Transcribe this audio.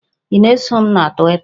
Ị na-eso m na Twita?